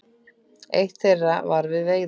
Eitt þeirra var við veiðar.